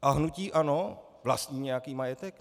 A hnutí ANO - vlastní nějaký majetek?